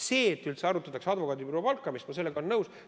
Sellega, et üldse arutataks advokaadibüroo palkamist, sellega olen nõus.